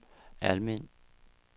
Almind